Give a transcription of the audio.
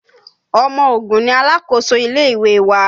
Ọmọ Ògùn ni alákòóso ilé ìwé wa